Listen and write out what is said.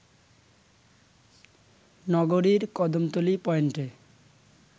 নগরীর কদমতলী পয়েন্টে